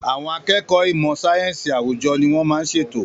Àwọn akẹ́kọ̀ọ́ ìmọ̀ sáyẹ́sì àwùjọ ni wọ́n máa ń ṣètò.